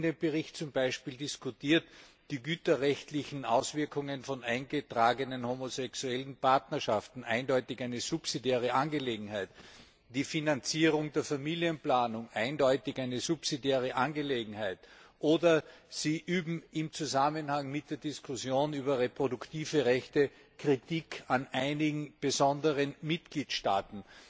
In dem Bericht werden zum Beispiel diskutiert die güterrechtlichen Auswirkungen von eingetragenen homosexuellen Partnerschaften eindeutig eine subsidiäre Angelegenheit, die Finanzierung der Familienplanung eindeutig eine subsidiäre Angelegenheit, oder Sie üben im Zusammenhang mit der Diskussion über reproduktive Rechte Kritik an einigen besonderen Mitgliedstaaten,